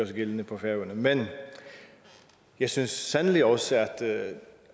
sig gældende på færøerne men jeg synes sandelig også at det